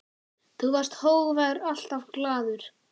Þú varst hógvær, alltaf glaður.